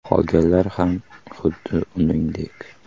Qolganlar ham xuddi uningdek.